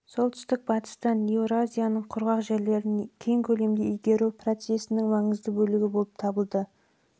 солтүстік батыстан еуразияның құрғақ жерлерін кең көлемде игеру процесінің маңызды бөлігі болып табылды бұл алдымен